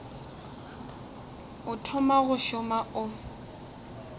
o thoma go šoma o